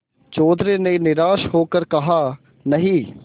चौधरी ने निराश हो कर कहानहीं